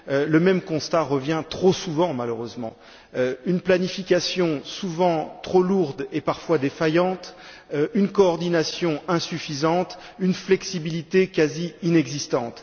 Le même constat revient, trop souvent malheureusement une planification souvent trop lourde et parfois défaillante, une coordination insuffisante, une flexibilité quasi inexistante.